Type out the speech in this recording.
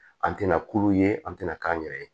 An tɛna kulu ye an tɛna k'an yɛrɛ ye